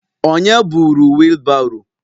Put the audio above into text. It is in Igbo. Onye buru wheelbarrow?